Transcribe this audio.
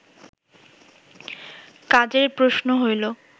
কাজের প্রশ্ন হইল